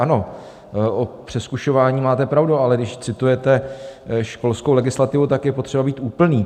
Ano, o přezkušování máte pravdu, ale když citujete školskou legislativu, tak je potřeba být úplný.